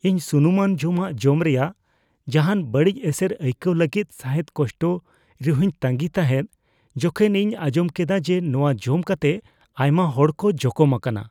ᱤᱧ ᱥᱩᱱᱩᱢᱟᱱ ᱡᱚᱢᱟᱜ ᱡᱚᱢ ᱨᱮᱭᱟᱜ ᱡᱟᱦᱟᱱ ᱵᱟᱹᱲᱤᱡ ᱮᱥᱮᱨ ᱟᱹᱭᱠᱟᱹᱣ ᱞᱟᱹᱜᱤᱫ ᱥᱟᱦᱮᱫ ᱠᱚᱥᱴᱚ ᱨᱮᱦᱚᱧ ᱛᱟᱸᱜᱤ ᱛᱟᱦᱮᱫ ᱡᱚᱠᱷᱮᱡ ᱤᱧ ᱟᱸᱡᱚᱢ ᱠᱮᱫᱟ ᱡᱮ ᱱᱚᱶᱟ ᱡᱚᱢ ᱠᱟᱛᱮ ᱟᱭᱢᱟ ᱦᱚᱲ ᱠᱚ ᱡᱚᱠᱚᱢ ᱟᱠᱟᱱᱟ ᱾